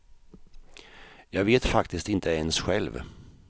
Jag vet faktiskt inte ens själv.